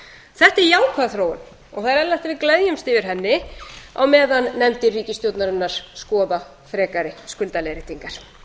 þetta er jákvæð þróun og það er eðlilegt að við gleðjumst yfir henni á meðan nefndir ríkisstjórnarinnar skoða frekari skuldaleiðréttingar